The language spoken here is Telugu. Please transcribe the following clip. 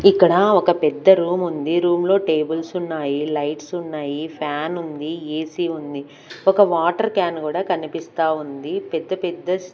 ఇక్కడ ఒక పెద్ద రూమ్ ఉంది రూమ్లో టేబుల్స్ ఉన్నాయి లైట్స్ ఉన్నాయి ఫ్యాన్ ఉంది ఏసీ ఉంది ఒక వాటర్ క్యాన్ కూడా కనిపిస్తా ఉంది పెద్ద పెద్ద--